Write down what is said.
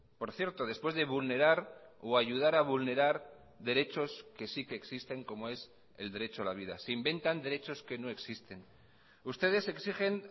por cierto después de vulnerar o ayudar a vulnerar derechos que sí que existen como es el derecho a la vida se inventan derechos que no existen ustedes exigen